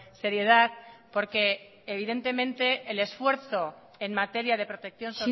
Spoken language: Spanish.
seriedad porque evidentemente el esfuerzo en materia de protección